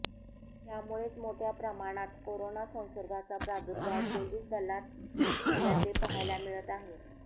त्यामुळेच मोठ्या प्रमाणात करोना संसर्गाचा प्रादुर्भाव पोलीस दलात झाल्याचे पाहायला मिळत आहे